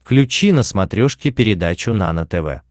включи на смотрешке передачу нано тв